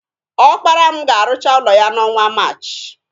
Ọpara mụ ga-arụcha ụlọ ya n'ọnwa Maachị.